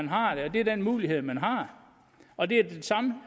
det er den mulighed man har og det er det samme